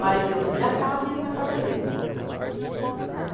Mas eu na minha casa e ele na casa dele. Né